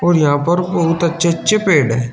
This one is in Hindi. और यहां पर बहुत अच्छे अच्छे पेड़ हैं।